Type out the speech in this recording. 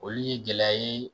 Olu ye gɛlɛya ye.